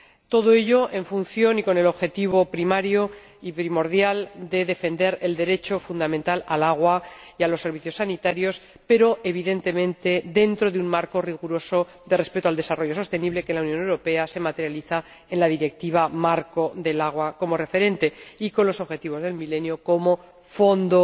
Todo ello con el objetivo primario y primordial de defender el derecho fundamental al agua y a los servicios sanitarios, pero, evidentemente, dentro de un marco riguroso de respeto al desarrollo sostenible que en la Unión Europea se materializa en la Directiva marco sobre el agua como referente, y con los Objetivos de Desarrollo del Milenio como fondo